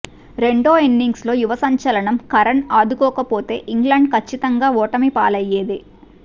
రెండో ఇన్నింగ్స్లో యువ సంచలనం కరన్ ఆదుకోక పోతే ఇంగ్లండ్ కచ్చితంగా ఓటమి పాలయ్యేదే